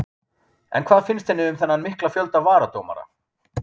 En hvað finnst henni um þennan mikla fjölda varadómara?